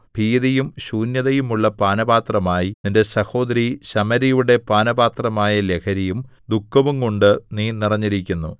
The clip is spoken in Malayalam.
ഭീതിയും ശൂന്യതയുമുള്ള പാനപാത്രമായി നിന്റെ സഹോദരി ശമര്യയുടെ പാനപാത്രമായ ലഹരിയും ദുഃഖവുംകൊണ്ട് നീ നിറഞ്ഞിരിക്കുന്നു